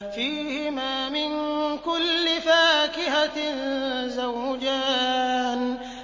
فِيهِمَا مِن كُلِّ فَاكِهَةٍ زَوْجَانِ